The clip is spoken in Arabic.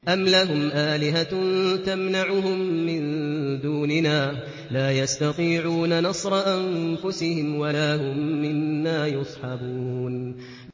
أَمْ لَهُمْ آلِهَةٌ تَمْنَعُهُم مِّن دُونِنَا ۚ لَا يَسْتَطِيعُونَ نَصْرَ أَنفُسِهِمْ وَلَا هُم مِّنَّا يُصْحَبُونَ